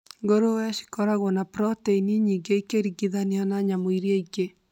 Ngũrũwe cikoragwo na protĩni nyingĩ ĩkĩringithania na nyamũ iria ingĩ